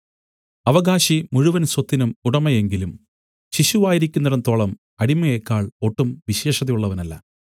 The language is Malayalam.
അവകാശി മുഴുവൻ സ്വത്തിനും ഉടമയെങ്കിലും ശിശുവായിരിക്കുന്നിടത്തോളം അടിമയേക്കാൾ ഒട്ടും വിശേഷതയുള്ളവനല്ല